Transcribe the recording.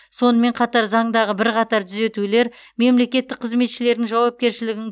сонымен қатар заңдағы бірқатар дүзетулер мемлекеттік қызметшілердің жауапкершілігін